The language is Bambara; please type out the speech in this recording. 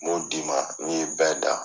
N b'o d'i ma n'i ye bɛɛ dan.